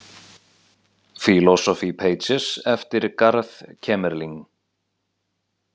Philosophy Pages, eftir Garth Kemerling